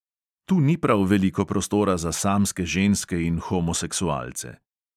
Tu ni prav veliko prostora za samske ženske in homoseksualce.